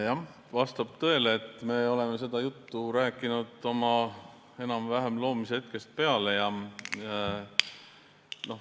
Jah, vastab tõele, et me oleme seda juttu rääkinud enam-vähem oma loomise hetkest peale.